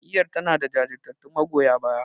Jam'iyyar tanada jajirtattun magoya baya.